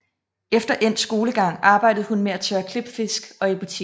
Efter endt skolegang arbejdede hun med at tørre klipfisk og i butik